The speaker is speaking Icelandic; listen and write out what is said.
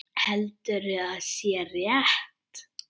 Heldur að sé rétt.